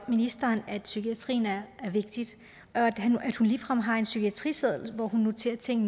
ministeren at psykiatrien er vigtig og at hun ligefrem har en psykiatriseddel hvor hun noterer ting